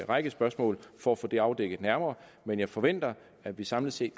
række spørgsmål for at få det afdækket nærmere men jeg forventer at vi samlet set